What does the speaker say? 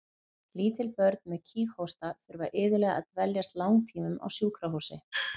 Lítil börn með kíghósta þurfa iðulega að dveljast langtímum á sjúkrahúsi.